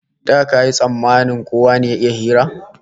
Da kayi tsammanin kowa ne ya iya hira?